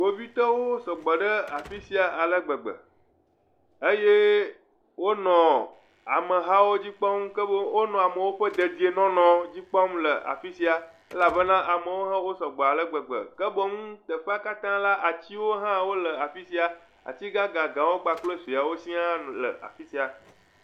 Ame aɖewo yi ke do awu yibɔ kple kuku yibɔ le afi sia, kpovitɔwoe wonye, ati aɖe le wo megbe eye ŋutsu aɖe le si do awu blɔ la le wo titina, kpovitɔwo lé kaƒomɔ ɖe asi eye ɖewo hã lé tuwo ɖe asi.